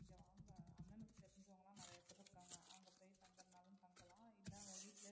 இல்ல அவ வீட்டுலேயே